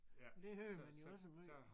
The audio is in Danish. Det hører man jo også måj